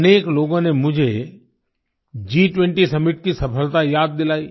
अनेक लोगों ने मुझे G20 सम्मित की सफलता याद दिलाई